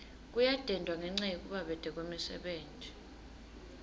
kuyadendwa ngenca yekubabete kwemisebenti